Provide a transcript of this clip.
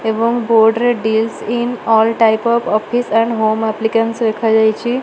ଏବଂ ବୋର୍ଡ ରେ deals in all type of office and home appliances ଲେଖାଯାଇଚି ।